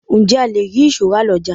Ǹjẹ́ a le ri ìṣó rà lọjà?